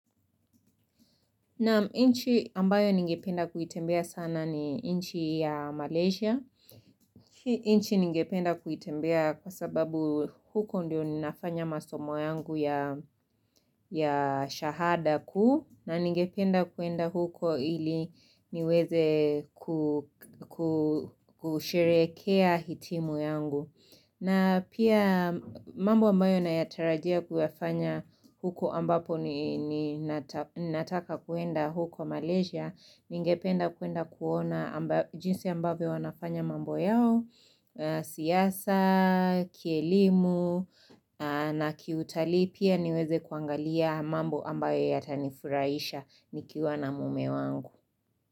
Na inchi ambayo ningependa kuitembea sana ni inchi ya Malaysia inchi ningependa kuitembea kwa sababu huko ndio ninafanya masomo yangu ya shahada kuu na ningependa kuenda huko ili niweze kusherekea hitimu yangu na pia mambo ambayo nayatarajia kuyafanya huko ambapo ni nataka kwenda huko Malaysia ningependa kuenda kuona jinsi ambavyo wanafanya mambo yao siasa kielimu na kiutali pia niweze kuangalia mambo ambayo yatanifuraisha nikiwa na mume wangu.